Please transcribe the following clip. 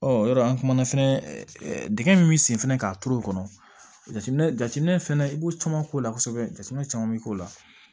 Ɔ yɔrɔ an kumana fɛnɛ dingɛ min bi sen fɛnɛ k'a turu o kɔnɔ jateminɛ fɛnɛ i b'o caman k'o la kosɛbɛ jateminɛ caman bi k'o la